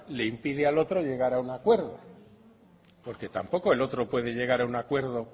le impide al otro llegar a un acuerdo porque tampoco el otro puede llegar a un acuerdo